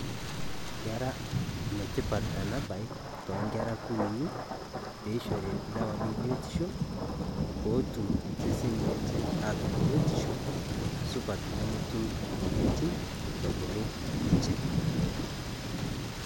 Kera enetipat ena Baye too Nkera kunyinyi peishori ildawa le biotisho peetum eseseni lenye aatum biotisho supat nemetum emoyiaritin ebulu ninche.